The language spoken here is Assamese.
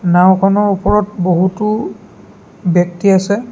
নাওঁখনৰ ওপৰত বহুতো ব্যক্তি আছে।